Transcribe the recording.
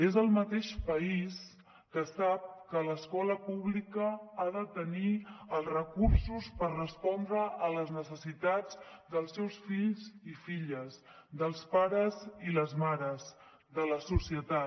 és el mateix país que sap que l’escola pública ha de tenir els recursos per respondre a les necessitats dels seus fills i filles dels pares i les mares de la societat